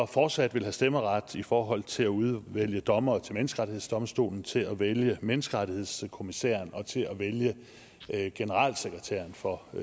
fortsat have stemmeret i forhold til at udvælge dommere til menneskerettighedsdomstolen til at vælge menneskerettighedskommissæren og til at vælge generalsekretæren for